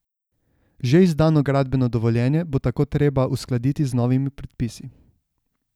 Že izdano gradbeno dovoljenje bo tako treba uskladiti z novimi predpisi.